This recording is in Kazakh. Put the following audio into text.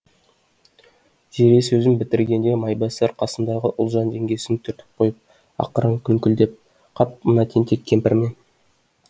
зере сөзін бітіргенде майбасар қасындағы ұлжан жеңгесін түртіп қойып ақырын күңкілдеп қап мына тентек кемпір ме